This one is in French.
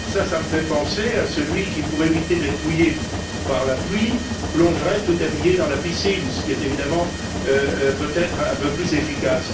Cela me fait penser à celui qui, pour éviter d'être mouillé par la pluie, plongerait tout habillé dans la piscine, ce qui est évidemment peut être un peu plus efficace.